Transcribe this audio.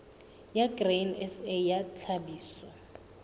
ya grain sa ya tlhahiso